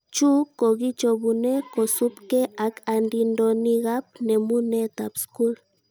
Chu kokichobune kosubke ak andindonikab nemunetab skul